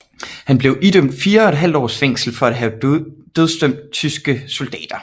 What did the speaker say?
Han blev idømt fire og et halvt års fængsel for at have dødsdømt tyske soldater